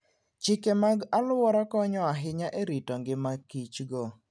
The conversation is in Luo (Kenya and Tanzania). Chike mag alwora konyo ahinya e rito ngima Kichgo.